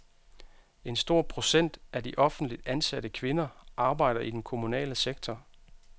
En stor procent af de offentligt ansatte kvinder arbejder i den kommunale sektor.